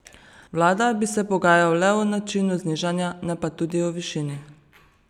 Vlada bi se pogajal le o načinu znižanja, ne pa tudi o višini.